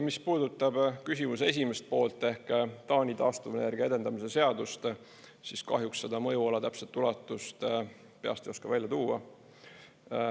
Mis puudutab küsimuse esimest poolt ehk Taani taastuvenergia edendamise seadust, siis kahjuks seda mõjuala täpset ulatust peast ei oska välja tuua.